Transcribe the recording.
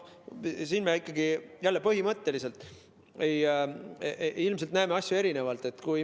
Siin me ikkagi jälle põhimõtteliselt näeme asju ilmselt erinevalt.